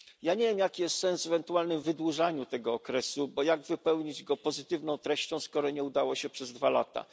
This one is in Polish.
Nie wiem, jaki jest sens w ewentualnym wydłużaniu tego okresu, bo jak wypełnić go pozytywną treścią, skoro nie udało się przez dwa lata?